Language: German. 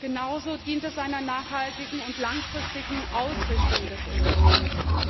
Genauso dient es einer nachhaltigen und langfristigen Ausrichtung des Unternehmens.